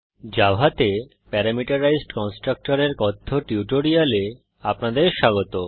জাভাতে প্যারামিটারাইজড কন্সট্রকটরের কথ্য টিউটোরিয়ালে আপনাদের স্বাগত